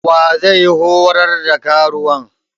Wa zai horar da karuwan?